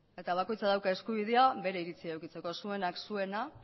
eta bakoitzak dauka eskubidea bere iritzia edukitzeko zuenak zuena